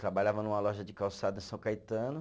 Trabalhava numa loja de calçado em São Caetano.